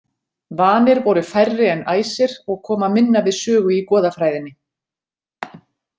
Vanir voru færri en æsir og koma minna við sögu í goðafræðinni.